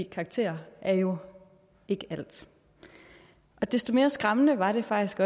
karakterer er jo ikke alt desto mere skræmmende var det faktisk